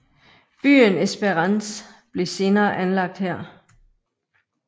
Byen Esperance blev senere anlagt her